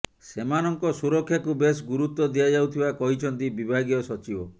ସେମାନଙ୍କ ସୁରକ୍ଷାକୁ ବେଶ୍ ଗୁରୁତ୍ୱ ଦିଆଯାଉଥିବା କହିଛନ୍ତି ବିଭାଗୀୟ ସଚିବ